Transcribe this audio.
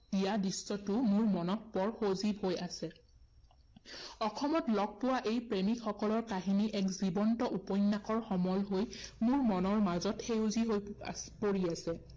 দিয়া দৃশ্যটো মোৰ মনত বৰ সজীৱ হৈ আছে। অসমত লগ পোৱা এই প্ৰেমিকসকলৰ কাহিনী এক উপন্যাসৰ সমল হৈ মোৰ মনৰ মাজত সেউজী হৈ আহ পৰি আছে।